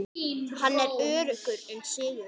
Hann er öruggur um sigur.